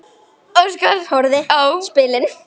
Óskar horfði á spilin.